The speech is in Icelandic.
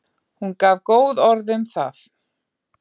Hún gaf góð orð um það.